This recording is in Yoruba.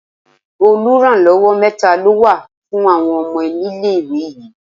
Oluranlowo mẹ́ta ló wà fún àwọn ọmọ nílé-ìwé yìí.